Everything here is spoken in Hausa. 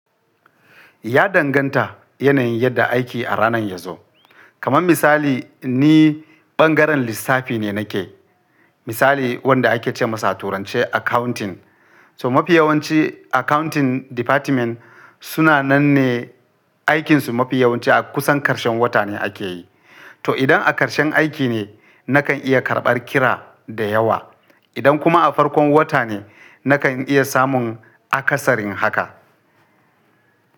Ya danganta yanayin yadda aiki a ranar ya zo. Kaman misali ni ɓangaren lissafi ne nake, misali wanda ake ce masa a turanci accounting. So mafi yawanci accounting department suna nan ne aikinsu mafi yawanci a kusan ƙarshen wata ne ake yi. To idan a ƙarshen aiki ne, nakan iya karɓar kira da yawa. Idan kuma a farkon wata ne, nakan iya samun akasarin haka.